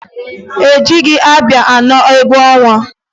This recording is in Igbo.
E jighi ábịà anọ egwu ọnwa.